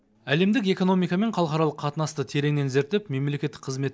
әлемдік экономика мен халықаралық қатынасты тереңнен зерттеп мемлекеттік қызмет